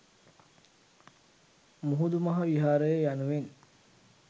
මුහුදු මහ විහාරය යනුවෙන්